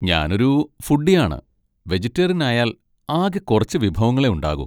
ഞാനൊരു ഫുഡ്ഡി ആണ്, വെജിറ്റേറിയൻ ആയാൽ ആകെ കുറച്ച് വിഭവങ്ങളേ ഉണ്ടാകൂ.